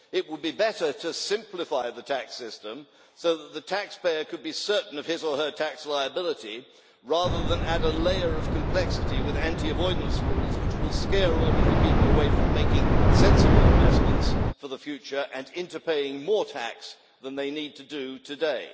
It would be better to simplify the tax system so that the taxpayer could be certain of his or her tax liability, rather than add a layer of complexity with anti-avoidance rules which will scare ordinary people away from making sensible investments for the future and into paying more tax than they need to do today.